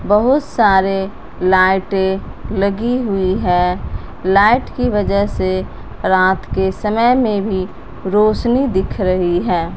बहुत सारे लाइटें लगी हुई है लाइट की वजह से रात के समय में भी रोशनी दिख रही है।